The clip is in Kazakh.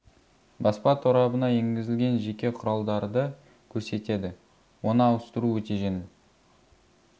баспа торабына енгізілген жеке құралдарды көрсетеді оны ауыстыру өте жеңіл